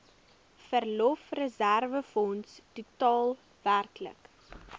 verlofreserwefonds totaal werklik